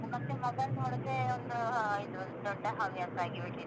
ಹ್ಮ್ ಮತ್ತೆ mobile ನೋಡುದೇ ಒಂದು ಇದು ದೊಡ್ಡ ಹವ್ಯಾಸ ಆಗಿ ಹೋಗಿದೆ.